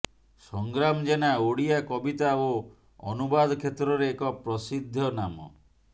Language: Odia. ସଂଗ୍ରାମ ଜେନା ଓଡ଼ିଆ କବିତା ଓ ଅନୁବାଦ କ୍ଷେତ୍ରରେ ଏକ ପ୍ରସିଦ୍ଧ ନାମ